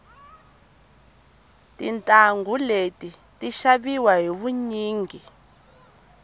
tintangu leti ti xaviwa hi vunyingi